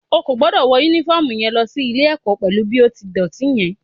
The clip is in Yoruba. O ò gbọ́dọ̀ wọ Únífọ́ọ̀mù yẹn lọ sí ilé-ẹ̀kọ́ pẹ̀lú bí ó ti dọ̀tí yẹn